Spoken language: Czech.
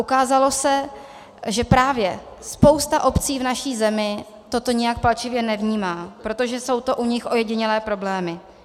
Ukázalo se, že právě spousta obcí v naší zemi toto nijak palčivě nevnímá, protože jsou to u nich ojedinělé problémy.